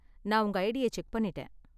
நா உங்க ஐடிய செக் பண்ணிட்டேன்.